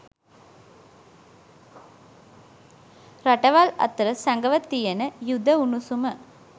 රටවල් අතර සැගව තියෙන යුධ උණුසුම